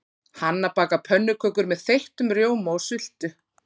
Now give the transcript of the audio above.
Hanna bakar pönnukökur með þeyttum rjóma og sultu.